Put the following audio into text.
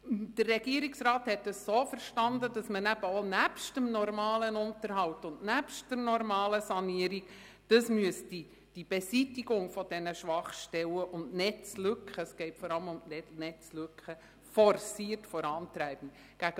Der Regierungsrat hat das so verstanden, dass man zusätzlich zum normalen Unterhalt und den normalen Sanierungen auch die Beseitigung dieser Schwachstellen und Netzlücken «forciert» vorantreiben müsste.